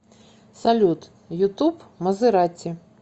салют ютуб мазерати